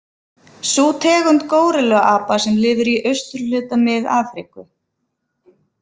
Sú tegund górilluapa sem lifir í austurhluta Mið-Afríku.